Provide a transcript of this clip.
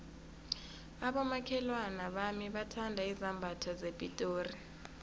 abomakhelwana bami bathanda izambatho zepitori